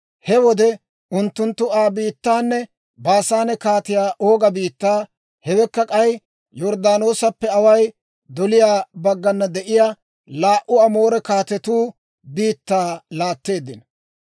He wode unttunttu Aa biittaanne Baasaane Kaatiyaa Ooga biittaa, hewekka k'ay Yorddaanoosappe away doliyaa baggana de'iyaa laa"u Amoore kaatetuu biittaa laatteeddino.